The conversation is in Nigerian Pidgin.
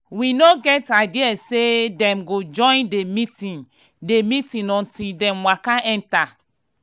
we no get idea say dem go join the meeting the meeting until dem waka enter.